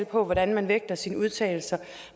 på hvordan man vægter sine udtalelser